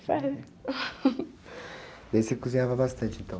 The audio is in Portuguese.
Serve. daí você cozinhava bastante, então?